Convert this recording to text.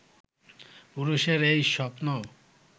পুরুষের এই স্বপ্ন